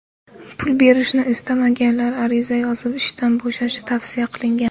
Pul berishni istamaganlar ariza yozib ishdan bo‘shashi tavsiya qilingan.